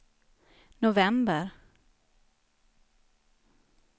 november